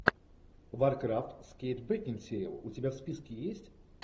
варкрафт с кейт бекинсейл у тебя в списке есть